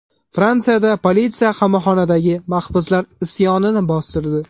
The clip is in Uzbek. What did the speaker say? Fransiyada politsiya qamoqxonadagi mahbuslar isyonini bostirdi.